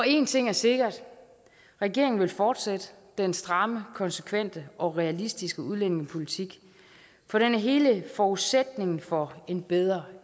en ting er sikkert regeringen vil fortsætte den stramme konsekvente og realistiske udlændingepolitik for den er hele forudsætningen for en bedre